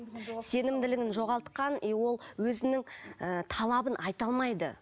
сенімділігін жоғалтқан и ол өзінің ы талабын айта алмайды